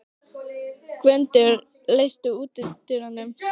Gvöndur, læstu útidyrunum.